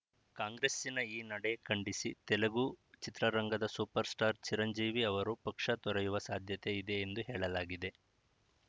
ಕಾಂಗ್ರೆಸ್ಸಿನ ಈ ನಡೆ ಖಂಡಿಸಿ ತೆಲುಗು ಚಿತ್ರರಂಗದ ಸೂಪರ್‌ಸ್ಟಾರ್‌ ಚಿರಂಜೀವಿ ಅವರು ಪಕ್ಷ ತೊರೆಯುವ ಸಾಧ್ಯತೆ ಇದೆ ಎಂದು ಹೇಳಲಾಗಿದೆ